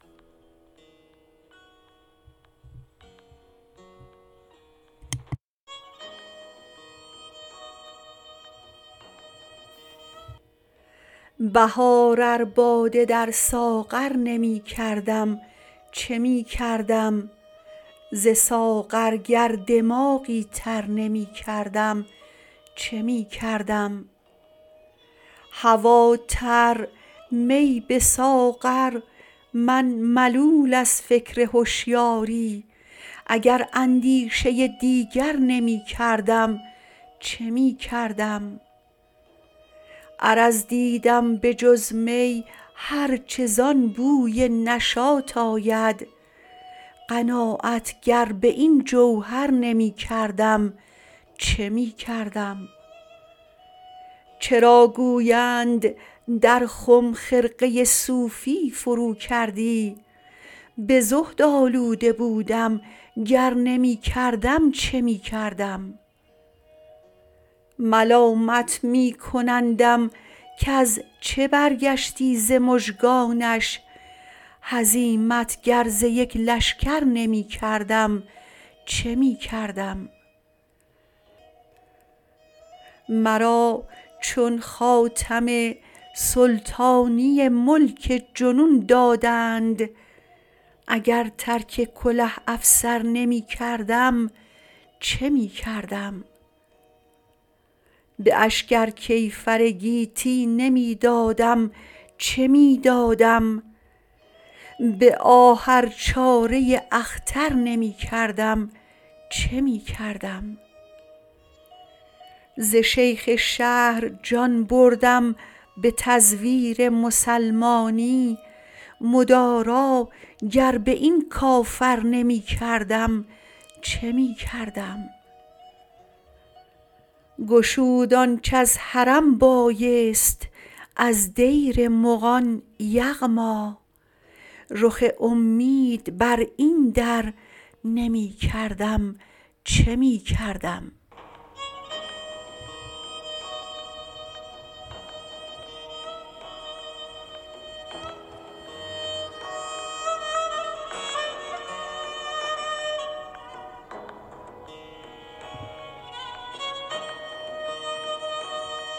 بهار ار باده در ساغر نمی کردم چه می کردم ز ساغر گر دماغی تر نمی کردم چه می کردم هوا تر می به ساغر من ملول از فکر هشیاری اگر اندیشه ی دیگر نمی کردم چه می کردم عرض دیدم به جز می هرچه زان بوی نشاط آید قناعت گر به این جوهر نمی کردم چه می کردم چرا گویند در خم خرقه ی صوفی فرو کردی به زهدآلوده بودم گر نمی کردم چه می کردم ملامت می کنندم کز چه برگشتی ز مژگانش هزیمت گر ز یک لشکر نمی کردم چه می کردم مرا چون خاتم سلطانی ملک جنون دادند اگر ترک کله افسر نمی کردم چه می کردم به اشک ار کیفر گیتی نمی دادم چه می دادم به آه ار چاره ی اختر نمی کردم چه می کردم ز شیخ شهر جان بردم به تزویر مسلمانی مدارا گر به این کافر نمی کردم چه می کردم گشود آنچه از حرم بایست از دیر مغان یغما رخ امید بر این در نمی کردم چه می کردم